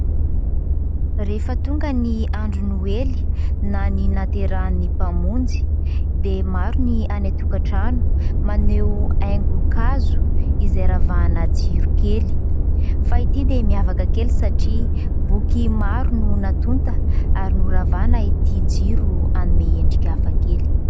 Rehefa tonga ny andro Noely na ny nahaterahan'ny mpamonjy dia maro ny any an-tokan-trano maneho aingon-kazo izay ravahana jiro kely. Fa ity dia miavaka kely satria boky maro no natonta, ary noravahana ity jiro anome endrika hafa kely.